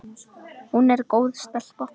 Hún er góð stelpa.